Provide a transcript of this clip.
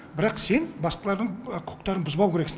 бірақ сен басқалардың құқықтарын бұзбау керексің